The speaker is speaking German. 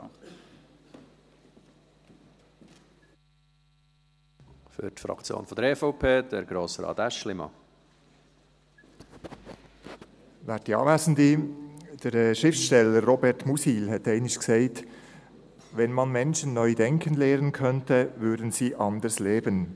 Der Schriftsteller Robert Musil hat einmal gesagt: «Wenn man [Menschen] neu denken lehren könnte, würden sie anders leben.